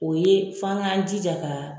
O ye f'an k'an jija ka